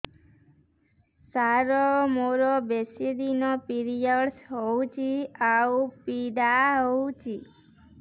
ସାର ମୋର ବେଶୀ ଦିନ ପିରୀଅଡ଼ସ ହଉଚି ଆଉ ପୀଡା ହଉଚି